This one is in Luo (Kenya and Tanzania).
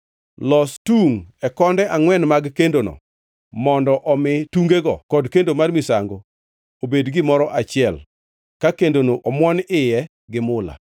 Los tungʼ e konde angʼwen mag kendono, mondo omi tungego kod kendo mar misango obed gimoro achiel ka kendono omuon wiye gi mula.